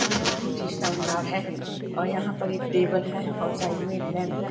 ये बहुत ही शानदार है और यहां पर एक टेबल है और साइड में एक लैंप है।